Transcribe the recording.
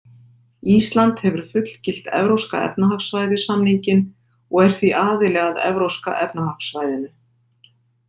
Ísland hefur fullgilt Evrópska efnahagssvæðið-samninginn og er því aðili að Evrópska efnahagssvæðinu.